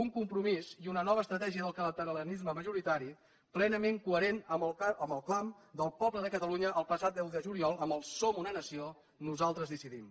un compromís i una nova estratègia del catalanisme majoritari plenament coherents amb el clam del poble de catalunya el passat deu de juliol amb el som una nació nosaltres decidim